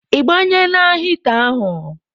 Ịgbanyela hịta ahụ?